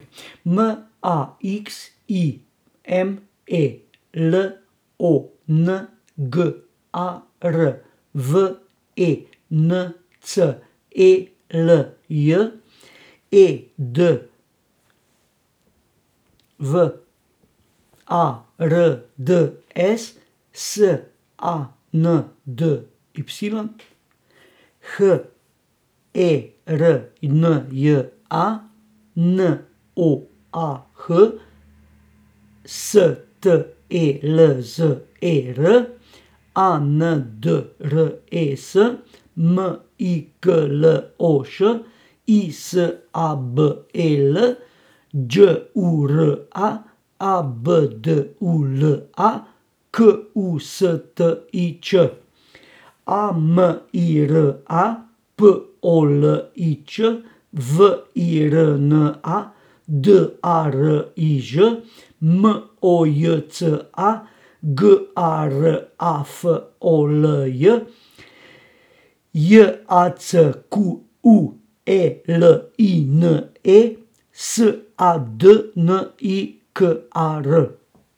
M A X I M E, L O N G A R; V E N C E L J, E D W A R D S; S A N D Y, H E R N J A; N O A H, S T E L Z E R; A N D R E S, M I K L O Š; I S A B E L, Đ U R A; A B D U L A, K U S T I Ć; A M I R A, P O L I Č; V I R N A, D A R I Ž; M O J C A, G A R A F O L J; J A C Q U E L I N E, S A D N I K A R.